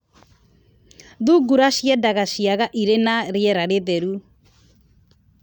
Thungura ciendaga ciaga irĩ na rĩera rĩtheru.